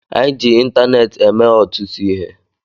Anyị ji ịntaneetị eme ọtụtụ ihe